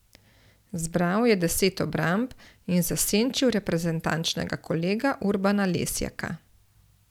Zbral je deset obramb in zasenčil reprezentančnega kolega Urbana Lesjaka.